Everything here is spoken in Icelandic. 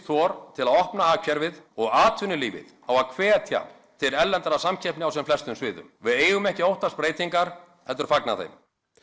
þor til að opna hagkerfið og atvinnulífið á að hvetja til erlendrar samkeppni á sem flestum sviðum við eigum ekki að óttast breytingar heldur fagna þeim